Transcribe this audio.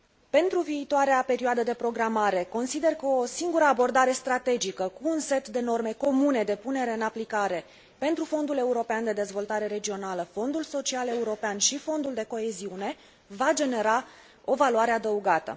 Pentru viitoarea perioadă de programare, consider că o singură abordare strategică, cu un set de norme comune de punere în aplicare pentru Fondul european de dezvoltare regională, Fondul social european și Fondul de coeziune va genera o valoare adăugată.